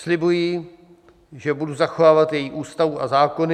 Slibuji, že budu zachovávat její Ústavu a zákony.